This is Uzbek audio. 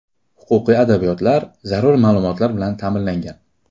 Huquqiy adabiyotlar, zarur ma’lumotlar bilan ta’minlangan.